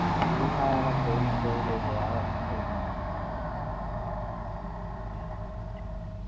full അവനെ ട്രോളി ട്രോളി ഒരു വകക്ക് കയിഞ്ഞു